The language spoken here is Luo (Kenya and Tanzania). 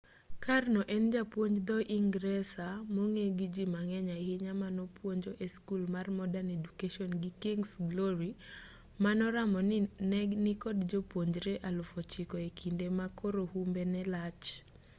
karno en japuonj dho-ingresa mong'e gi ji mang'eny ahinya manopuonjo e skul mar modern education gi king's glory manoramo ni ne nikod jopuonjre 9,000 e kinde ma koro humbe ne lach